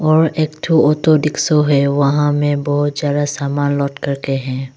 र एकथो auto rickshaw है वहां में बहुत ज्यादा सामान लोड करके है।